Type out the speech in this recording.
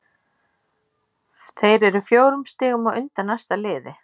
Þeir eru fjórum stigum á undan næsta liði.